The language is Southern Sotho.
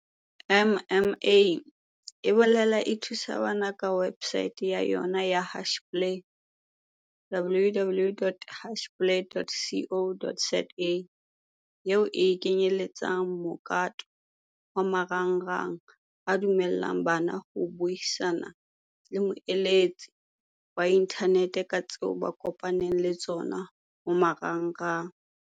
MMA e boela e thusa bana ka websaete ya yona ya Hashplay, www.hashplay.co.za, eo e kenyeletsang mokato wa marangrang a dumella ng bana ho buisana le moeletsi wa inthaneteng ka tseo ba kopanang le tsona ho marangrang.